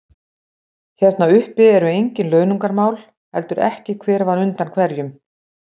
Hérna uppi eru engin launungarmál, heldur ekki hver var undan hverjum.